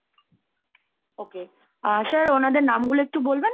okay uh sir ওনাদের নামগুলো একটু বলবেন?